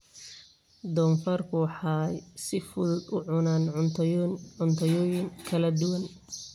Doofaarku waxay si fudud u cunaan cuntooyin kala duwan.